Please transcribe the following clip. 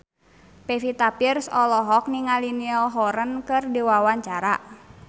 Pevita Pearce olohok ningali Niall Horran keur diwawancara